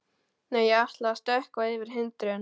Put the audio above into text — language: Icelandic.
Nei, ég ætla að stökkva yfir hindrun.